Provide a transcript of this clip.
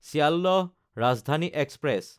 Sealdah Rajdhani express